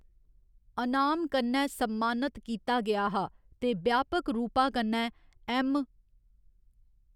अनाम कन्नै सम्मानत कीता गेआ हा ते ब्यापक रूपा कन्नै ऐम्म.